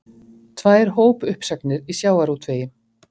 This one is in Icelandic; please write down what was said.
Tvær hópuppsagnir í sjávarútvegi